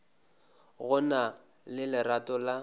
go na le lerato la